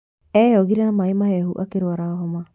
Eyogire na maĩ ,mahehu akĩrwara homa.